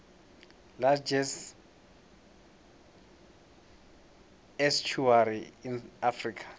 largest estuary in africa